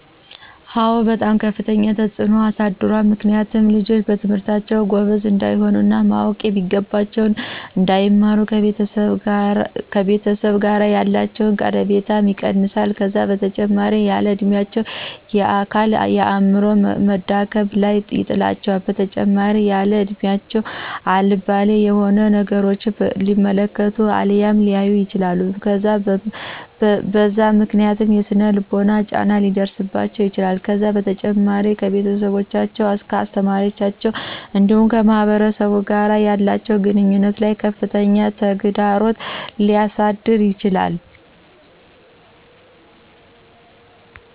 አዎ በጣም ከፍተኛ ተፅዕኖ ያሳድራል ምክንያቱም ልጆች በትምህርታቸው ጎበዞች እንዳይሆኑ እና ማወቅ የሚገባቸውን እንዳይማሩና ከቤተሰብ ጋ ያላቸው ቀረቤታ ይቀንሰዋል ከዛ በተጨማሪም ያለ እድሚያቸው የአካል የአዐምሮ መዳከም ላይ ይጥላቸዋል በተጨማሪም ያለእድሚያቸው አልባሌ ያልሆኑ ነገራቶችን ሊመለከቱ አልያም ሊያዩ ይችላሉ በዛ ምክንያት የሰነ ልቦና ጫና ሊደርሰባቸው ይችላል ከዛ በተጨማሪም ከቤተሰቦቻቸው ከአሰተማሪዎቻቸው እንዲሁም ከማህበረሰቡ ጋር ባላቸው ግንኙነት ላይ ከፍተኛ ተግዳሮት ሊያሳድር ይችላል